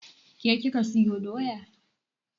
Ke kika sayo doya?